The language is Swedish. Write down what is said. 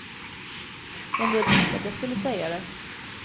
En del tyckte att jag skulle säga det.